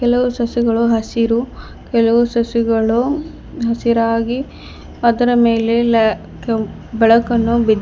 ಕೆಲವು ಸಸ್ಯಗಳು ಹಸಿರು ಕೆಲವು ಸಸ್ಯಗಳು ಹಸಿರಾಗಿ ಅದರ ಮೇಲೆ ಲೆ ಕು ಬೆಳಕನ್ನು ಬಿದ್ದಿ --